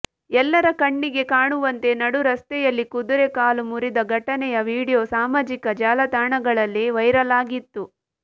ಎಲ್ಲರ ಕಣ್ಣಿಗೆ ಕಾಣುವಂತೆ ನಡುರಸ್ತೆಯಲ್ಲಿ ಕುದುರೆ ಕಾಲು ಮುರಿದ ಘಟನೆಯ ವಿಡಿಯೋ ಸಾಮಾಜಿಕ ಜಾಲ ತಾಣಗಳಲ್ಲಿ ವೈರಲ್ ಆಗಿತ್ತು